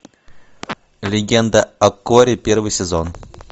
легенда о корре первый сезон